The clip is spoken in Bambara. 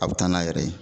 A bɛ taa n'a yɛrɛ ye